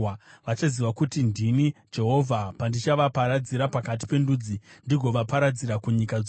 “Vachaziva kuti ndini Jehovha, pandichavaparadzira pakati pendudzi ndigovaparadzira kunyika dzose.